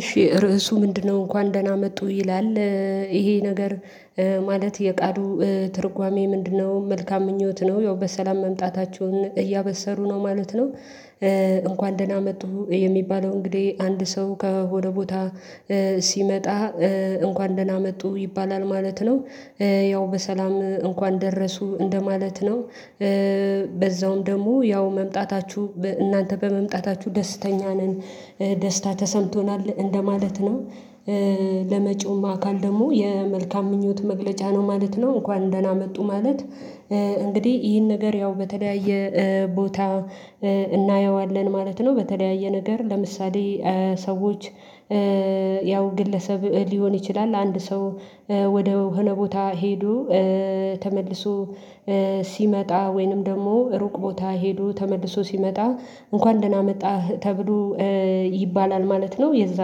እሺ ርዕሱ ምንድነው እንኳን ደህና መጡ ይላል ይሄ ነገር ማለት የቃሉ ትርጓሜ ምንድነው? መልካም ምኞት ነው ያው በሰላም መምጣታቸውን እያበሰሩ ነው ማለት ነው። እንኳን ደህና መጡ የሚባለው እንግዲህ አንድ ሰው ከሆነ ቦታ ሲመጣ እንኳን ደህና መጡ ይባላል ማለት ነው። ያው በሰላም እንኳን ደረሱ እንደማለት ነው። በዛውም ደግሞ ያው መምጣታችሁ እናንተ በመምጣታችሁ ደስተኛ ነን ደስታ ተሰምቶናል እንደማለት ነው። ለመጪውም አካል ደግሞ የመልካም ምኞት መግለጫ ነው ማለት ነው እንኳን ደህና መጡ ማለት። እንግዲህ ይህን ነገር ያው በተለያየ ቦታ እናየዋለን ማለት ነው። በተለያየ ነገር ለምሳሌ ሰዎች ያው ግለሰብ ሊሆን ይችላል። አንድ ሰው ወደ ሆነ ቦታ ሄዶ ተመልሶ ሲመጣ ወይንም ደግሞ ሩቅ ቦታ ሄዱ ተመልሶ ሲመጣ እንኳን ደህና መጣህ ተብሎ ይባላል ማለት ነው። የዛ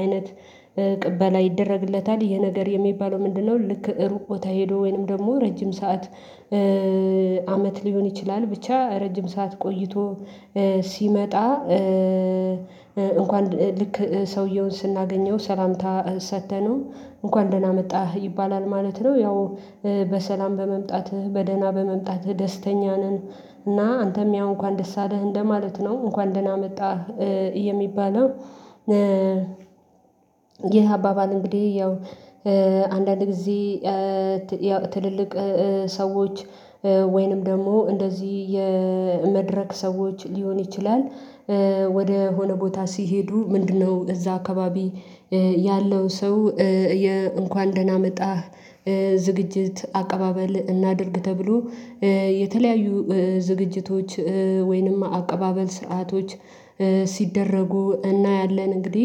አይነት ቅበላ ይደረግለታል ይህ ነገር የሚባለው ምንድነው? ልክ እሩቅ ቦታ ሄዶ ወይንም ደግሞ ረጅም ሰዓት አመት ሊሆን ይችላል ብቻ ረጅም ሰዓት ቆይቶ ሲመጣ እንኳን ልክ ሰውየውን ስናገኘው ሰላምታ ሰጥተነው እንኳን ደህና መጣህ ይባላል ማለት ነው። ያው በሰላም በመምጣትህ በደህና በመምጣትህ ደስተኛ ነን እና አንተም ያው እንኳን ደስ አለህ እንደማለት ነው እንኳን ደህና መጣህ። የሚባለው ይህ አባባል እንግዲህ ያው አንዳንድ ጊዜ ትልልቅ ሰዎች ወይንም ደግሞ እንደዚህ የመድረክ ሰዎች ሊሆን ይችላል። ወደ ሆነ ቦታ ሲሄዱ ምንድነው እዛ አካባቢ ያለው ሰው እንኳን ደህና መጣህ። ዝግጅት አቀባበል እናድርግ ተብሎ የተለያዩ ዝግጅቶች ወይንም አቀባበል ስርዓቶች ሲደረጉ እናያለን። እንግዲህ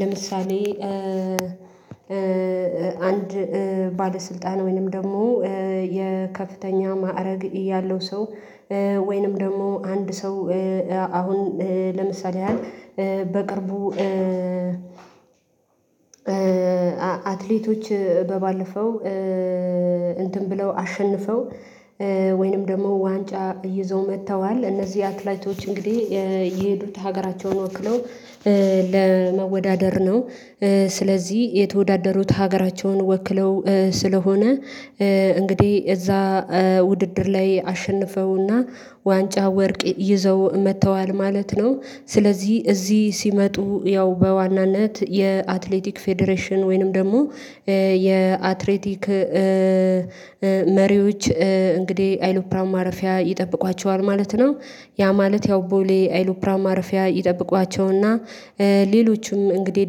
ለምሳሌ አንድ ባለስልጣን ወይንም ደግሞ የከፍተኛ ማዕረግ ያለው ሰው ወይንም ደግሞ አንድ ሰው አሁን ለምሳሌ ያህል በቅርቡ አትሌቶች ባለፈው እንትን ብለው አሸንፈው ወይንም ደግሞ ዋንጫ ይዘው መጥተዋል እነዚህ አትሌቶች እንግዲህ የሄዱት ሀገራቸውን ወክለው ለመወዳደር ነው። ስለዚህ የተወዳደሩት ሀገራቸውን ወክለው ስለሆነ እንግዲህ እዛ ውድድር ላይ አሸንፈውና ዋንጫ ወርቅ ይዘው መጥተዋል ማለት ነው። ስለዚህ እዚህ ሲመጡ ያው በዋናነት የአትሌቲክ ፌዴሬሽን ወይንም ደግሞ የአትሌቲክ መሪዎች እንግዲህ አይሎፕራን ማረፊያ ይጠብቋቸዋል ማለት ነው። ያ ማለት ያው ቦሌ አይሎፕራን ማረፊያ ይጠብቋቸውና ሌሎችም እንግዲህ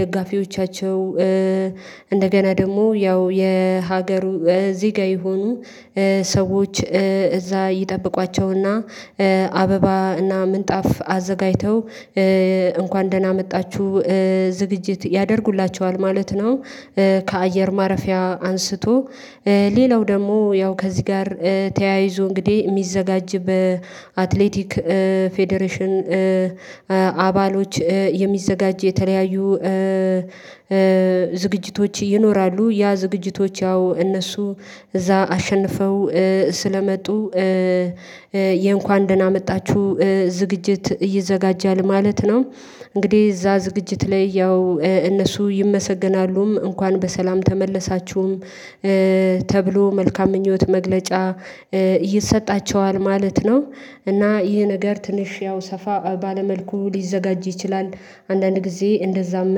ደጋፊዎቻቸው እንደገና ደግሞ ያው የሀገሩ እዚህ ጋር ይሁኑ ሰዎች እዛ ይጠብቋቸውና አበባና ምንጣፍ አዘጋጅተው እንኳን ደህና መጣችሁ ዝግጅት ያደርጉላቸዋል ማለት ነው። ከአየር ማረፊያ አንስቶ ሌላው ደግሞ ያው ከዚህ ጋር ተያይዞ እንግዲህ የሚዘጋጅ በአትሌቲክ ፌዴሬሽን አባሎች የሚዘጋጅ የተለያዩ ዝግጅቶች ይኖራሉ። ያ ዝግጅቶች ያው እነሱ እዛ አሸንፈው ስለመጡ የእንኳን ደህና መጣችሁ ዝግጅት ይዘጋጃል ማለት ነው። እንግዲህ እዛ ዝግጅት ላይ ያው እነሱ ይመሰገናሉም እንኳን በሰላም ተመለሳችሁም ተብሎ መልካም ምኞት መግለጫ ይሰጣቸዋል ማለት ነው። እና ይህ ነገር ትንሽ ያው ሰፋ ባለ መልኩ ሊዘጋጅ ይችላል። አንዳንድ ጊዜ እንደዛም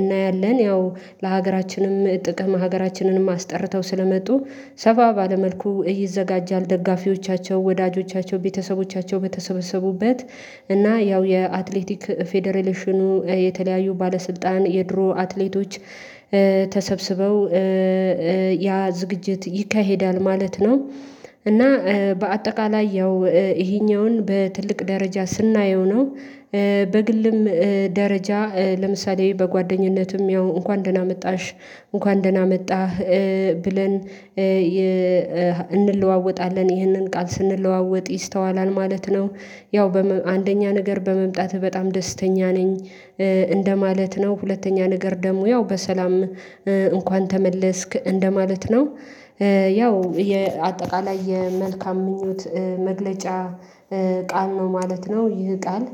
እናያለን ያው ለሀገራችንም ጥቅም ሀገራችንንም አስጠርተው ስለመጡ ሰፋ ባለ መልኩ ይዘጋጃል ደጋፊዎቻቸው ወዳጆቻቸው ቤተሰቦቻቸው በተሰበሰቡበት እና ያው የአትሌቲክ ፌደሬሽኑ የተለያዩ ባለስልጣን የድሮ አትሌቶች ተሰብስበው ያ ዝግጅት ይካሄዳል። ማለት ነው። እና በአጠቃላይ ያው ይሄኛውን በትልቅ ደረጃ ስናየው ነው። በግልም ደረጃ ለምሳሌ በጓደኝነትም ያው እንኳን ደህና መጣሽ እንኳን ደህና መጣህ ብለን እንለዋወጣለን ይህንን ቃል ስንለዋወጥ ይስተዋላል ማለት ነው። ያው በአንደኛ ነገር በመምጣት በጣም ደስተኛ ነኝ። እንደማለት ነው ሁለተኛ ነገር ደግሞ ያው በሰላም እንኳን ተመለስክ እንደማለት ነው። ያው የአጠቃላይ የመልካም ምኞት መግለጫ ቃል ነው ማለት ነው። ይህ ቃል